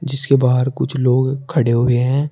जिसके बाहर कुछ लोग खड़े हुए हैं।